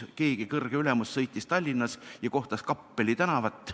Keegi kõrge ülemus sõitis Tallinna ja kohtas Kappeli tänavat.